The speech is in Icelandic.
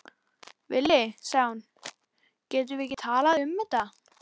Villi, sagði hún, getum við ekki talað um þetta?